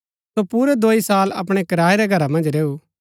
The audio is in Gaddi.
सो पुरै दोई साल अपणै किराये रै घरा मन्ज रैऊ